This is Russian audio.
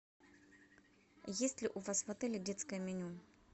есть ли у вас в отеле детское меню